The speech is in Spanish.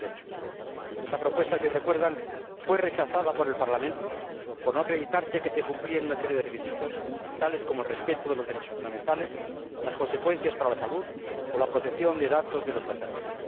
2008. Esta propuesta si recuerdan fue rechazada por el Parlamento por no acreditarse el cumplimiento de una serie de requisitos, tales como el respeto de los derechos fundamentales, las consecuencias para la salud o la protección de datos de los pasajeros.